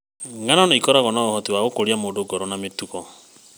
Ng'ano nĩ ikoragwo na ũhoti wa gũkũria mũndũ ngoro na mĩtugo mĩega.